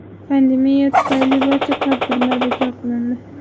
Pandemiya tufayli barcha tadbirlar bekor qilindi.